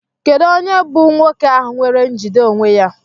Kedu onye bụ nwoke ahụ nwere njide onwe ya?